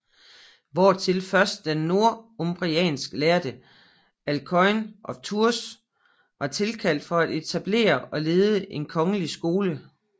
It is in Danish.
Hvortil først den northumbriansk lærde Alcuin af Tours var tilkaldt for at etablere og lede en kongelig skole